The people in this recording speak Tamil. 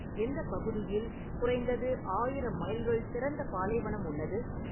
எந்த பகுதியில் குறைந்தது ஆயிரம் மைல்கள் திறந்த பாலைவனம் உள்ளது